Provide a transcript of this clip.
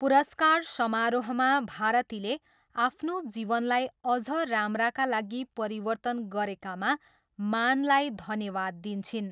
पुरस्कार समारोहमा भारतीले आफ्नो जीवनलाई अझ राम्राका लागि परिवर्तन गरेकामा मानलाई धन्यवाद दिन्छिन्।